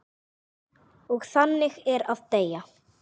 Og þannig er að deyja.